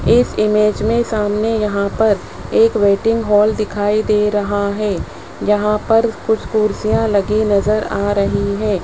इस इमेज में सामने यहां पर एक वेटिंग हॉल दिखाई दे रहा है जहां पर कुछ कुर्सियां लगी नजर आ रही हैं।